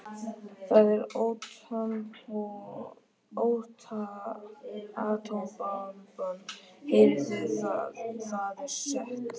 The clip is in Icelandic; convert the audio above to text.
Það er atómbomban, heyrið þið það, það er satt.